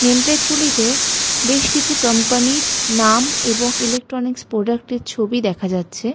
Name plate গুলিতে বেশ কিছু কম্পানি -র নাম এবং ইলেকট্রনিক্স প্রোডাক্ট -এর ছবি দেখা যাচ্ছে।